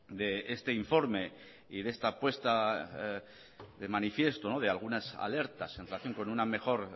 de este informe y de esta puesta en manifiesto de algunas alertas en relación con una mejor